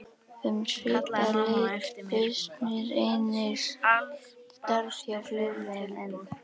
Um svipað leyti bauðst mér einnig starf hjá Flugleiðum en